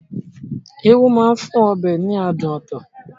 Irú máa ń fún ọbẹ̀ ní adùn ọtọ̀